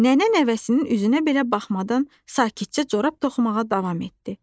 Nənə nəvəsinin üzünə belə baxmadan sakitcə corab toxumağa davam etdi.